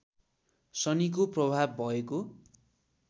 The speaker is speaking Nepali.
शनीको प्रभाव भएको